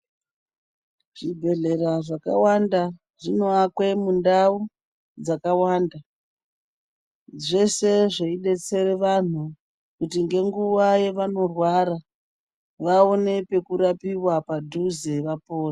Zvibhedhlera zvakawanda zvinoakwe mundau dzakawanda zvese zvedersere vanhu kuti ngenguwa yevanorwara vaone pekurapiwa padhuze vapone.